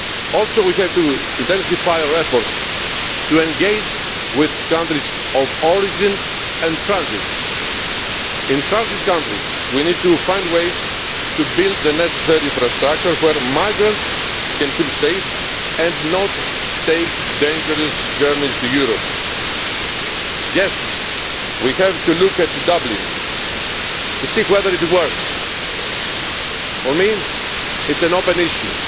Also, we have to intensify our efforts to engage with countries of origin and transit. In transit countries, we need to find ways to build the necessary infrastructure where migrants can feel safe and not take dangerous journeys to Europe. Yes, we will have to look at the Dublin system to see whether it works. For me it is an open